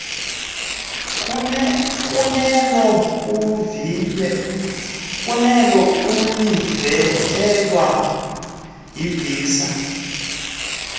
kunelo ulivunyelwa yivisa